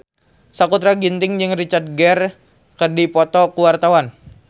Sakutra Ginting jeung Richard Gere keur dipoto ku wartawan